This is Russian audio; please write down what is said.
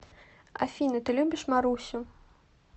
афина ты любишь марусю